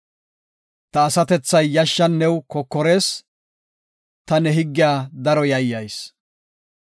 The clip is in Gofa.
Ta asatethay yashshan new kokorees; ta ne higgiya daro yayyayis.